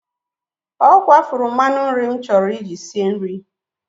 Ọ kwafuru mmanụ nri m chọrọ iji sie nri.